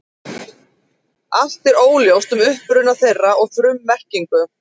Allt er óljóst um uppruna þeirra og frummerkingu.